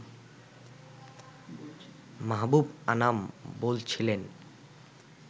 মাহবুব আনাম বলছিলেন